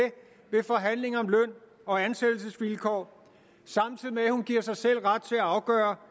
ved forhandlinger om løn og ansættelsesvilkår og samtidig med at hun giver sig selv ret til at afgøre